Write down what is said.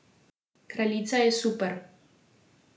Kraljica je super!